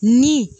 Ni